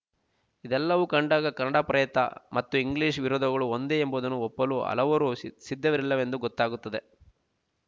ಇದೆಲ್ಲವು ಕಂಡಾಗ ಕನ್ನಡಪ್ರಯತ ಮತ್ತು ಇಂಗ್ಲೀಷ್ ವಿರೋಧಗಳು ಒಂದೇ ಎಂಬುದನ್ನು ಒಪ್ಪಲು ಹಲವರು ಸಿ ಸಿದ್ಧವಿರಲಿಲವೆಂದು ಗೊತ್ತಾಗುತ್ತದೆ